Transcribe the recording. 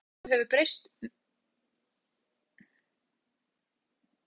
Viðhorf fólks til sólbrúnku hefur tekið miklum breytingum.